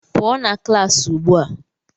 pụọ na klaasị ugbu a!